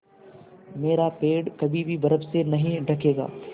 मेरा पेड़ कभी भी बर्फ़ से नहीं ढकेगा